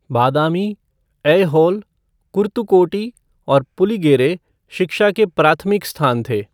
बादामी, ऐहोल, कुर्तुकोटी और पुलिगेरे शिक्षा के प्राथमिक स्थान थे।